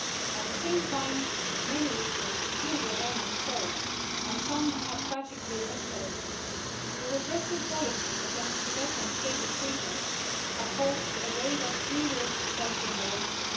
At the same time, many issues still remain unsolved, and some have tragically escalated. The repressive policies against Tibetans' basic freedoms have caused a wave of grievous self immolations.